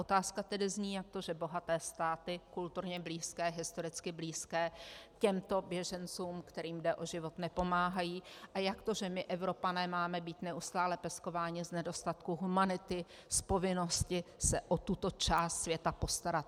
Otázka tedy zní, jak to, že bohaté státy kulturně blízké, historicky blízké těmto běžencům, kterým jde o život, nepomáhají, a jak to, že my Evropané máme být neustále peskováni z nedostatku humanity, z povinnosti se o tuto část světa postarat.